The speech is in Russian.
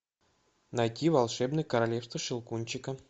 найти волшебное королевство щелкунчика